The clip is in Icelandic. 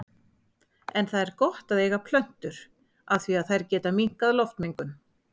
En það er gott að eiga plöntur af því að þær geta minnkað loftmengun.